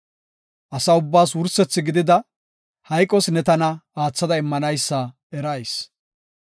Asa ubbaas wursethi gidida, hayqos ne tana aatha immanaysa erayis.